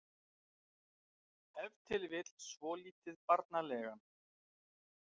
Ef til vill svolítið barnalegan.